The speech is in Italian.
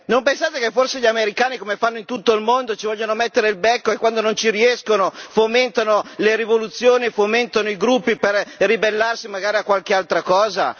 Non pensate che forse gli americani, come fanno in tutto il mondo, ci vogliono mettere il becco e quando non ci riescono fomentano le rivoluzioni, fomentano i gruppi per ribellarsi magari a qualche altra cosa?